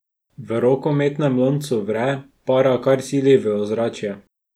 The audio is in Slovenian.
V rokometnem loncu vre, para kar sili v ozračje.